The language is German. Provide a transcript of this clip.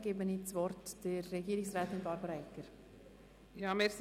Ich erteile das Wort der Regierungsrätin Barbara Egger.